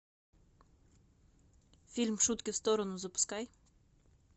фильм шутки в сторону запускай